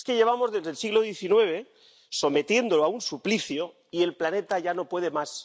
Es que llevamos desde el siglo XIX sometiéndolo a un suplicio y el planeta ya no puede más.